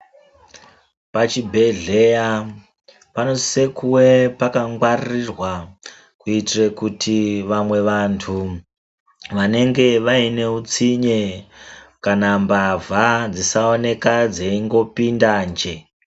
Pa chibhedhleya pano sise kuve paka ngwaririrwa kuitire kuti vamwe vantu vanenge vaine utsinye kana mbavha dzisa oneka dzeingo pinda nje.